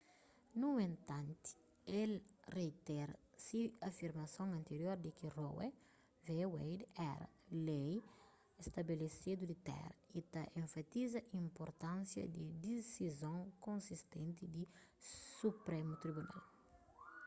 nu entanti el reitera se afirmason antirior di ki roe v wade éra lei stabelesedu di téra y ta enfatiza inpurtánsia di disizon konsistenti di suprému tribunal